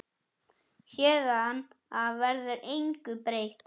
Héðan af verður engu breytt.